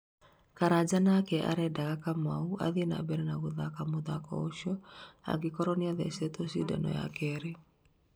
Karanja nake arendaga Kamau athiĩ na mbere na gũthaka mũthako ũcio "angĩkorwo nĩathecetwo cindano ya kerĩ